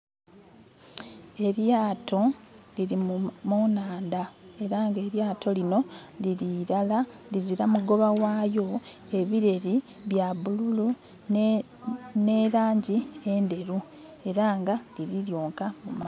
Elyaato, liri mu nhandha era nga elyaato lino liri irala lizira mugoba ghalyo. Ebireri bya bululu nhelangi endheru eranga liri lyonka mu maadhi.